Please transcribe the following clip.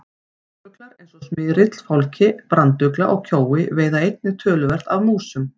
Ránfuglar eins og smyrill, fálki, brandugla og kjói veiða einnig töluvert af músum.